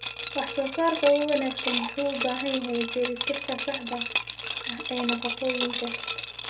Wax-soo-saarka ugu wanaagsan wuxuu u baahan yahay dheellitirka saxda ah ee nafaqooyinka.